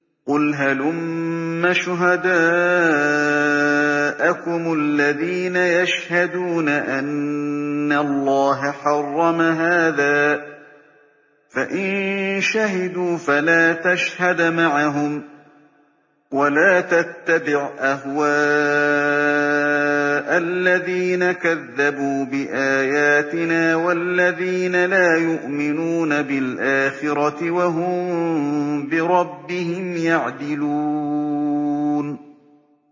قُلْ هَلُمَّ شُهَدَاءَكُمُ الَّذِينَ يَشْهَدُونَ أَنَّ اللَّهَ حَرَّمَ هَٰذَا ۖ فَإِن شَهِدُوا فَلَا تَشْهَدْ مَعَهُمْ ۚ وَلَا تَتَّبِعْ أَهْوَاءَ الَّذِينَ كَذَّبُوا بِآيَاتِنَا وَالَّذِينَ لَا يُؤْمِنُونَ بِالْآخِرَةِ وَهُم بِرَبِّهِمْ يَعْدِلُونَ